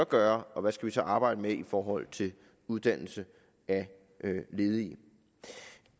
gøre og hvad vi så skal arbejde med i forhold til uddannelse af ledige